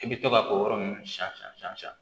I bɛ to ka o yɔrɔ ninnu siyan san